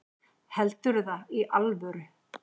Heldurðu það í alvöru?